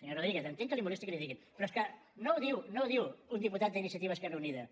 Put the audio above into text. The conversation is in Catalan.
senyor rodríguez entenc que el molesti que li ho diguin però és que no ho diu un diputat d’iniciativa esquerra unida